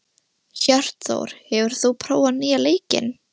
Hjörtþór, hefur þú prófað nýja leikinn?